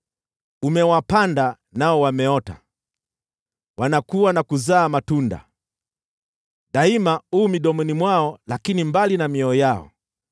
Umewapanda, nao wameota, wanakua na kuzaa matunda. Daima u midomoni mwao, lakini mbali na mioyo yao.